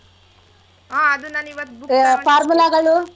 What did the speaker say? ಹಾ ಅದು ನಾನಿವತ್